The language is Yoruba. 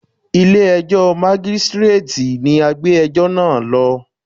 Ilé ẹjọ́ Mágístíréètì ni a gbé ẹjọ́ náà lọ.